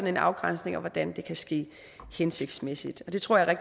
en afgrænsning hvordan det kan ske hensigtsmæssigt det tror jeg er